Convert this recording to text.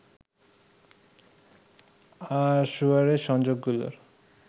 আর sewerage সংযোগগুলোর